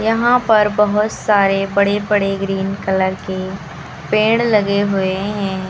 यहां पर बहुत सारे बड़े बड़े ग्रीन कलर के पेड़ लगे हुए हैं।